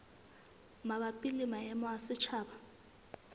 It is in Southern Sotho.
mabapi le maemo a setjhaba